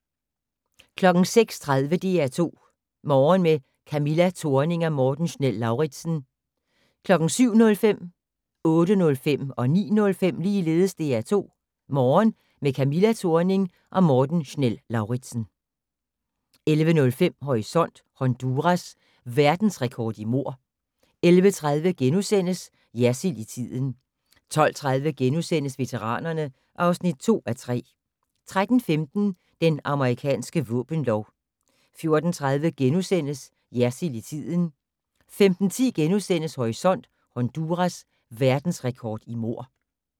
06:30: DR2 Morgen med Camilla Thorning og Morten Schnell-Lauritzen 07:05: DR2 Morgen med Camilla Thorning og Morten Schnell-Lauritzen 08:05: DR2 Morgen med Camilla Thorning og Morten Schnell-Lauritzen 09:05: DR2 Morgen med Camilla Thorning og Morten Schnell-Lauritzen 11:05: Horisont: Honduras: Verdensrekord i mord 11:30: Jersild i tiden * 12:30: Veteranerne (2:3)* 13:15: Den amerikanske våbenlov 14:30: Jersild i tiden * 15:10: Horisont: Honduras: Verdensrekord i mord *